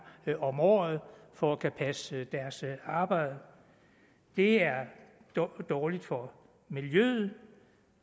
om året for at kunne passe deres arbejde det er dårligt for miljøet